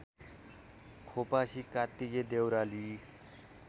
Khopasi Kattike Deurali